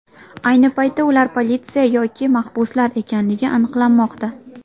Ayni paytda ular politsiya yoki mahbuslar ekanligi aniqlanmoqda.